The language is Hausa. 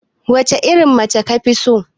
Wacce irin mace kafi so?